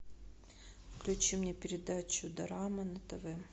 включи мне передачу дорама на тв